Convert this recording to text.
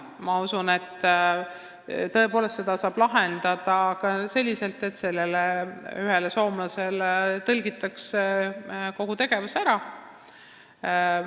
Ma usun, et seda olukorda oleks saanud lahendada ka selliselt, et sellele soomlasele oleks kogu tegevus ära tõlgitud.